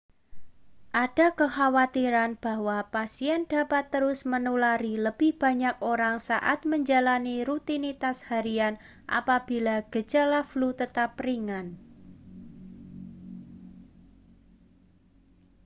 ada kekhawatiran bahwa pasien dapat terus menulari lebih banyak orang saat menjalani rutinitas harian apabila gejala flu tetap ringan